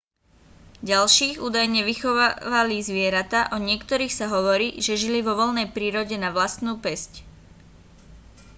ďalších údajne vychovávali zvieratá o niektorých sa hovorí že žili vo voľnej prírode na vlastnú päsť